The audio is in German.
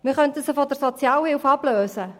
Wir könnten sie von der Sozialhilfe ablösen.